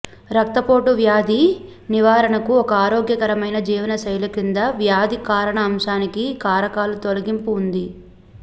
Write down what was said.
రక్తపోటు వ్యాధి నివారణకు ఒక ఆరోగ్యకరమైన జీవనశైలి క్రింది వ్యాధి కారణ అంశానికి కారకాల తొలగింపు ఉంది